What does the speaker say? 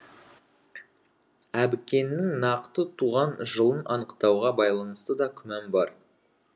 әбікеннің нақты туған жылын анықтауға байланысты да күмән бар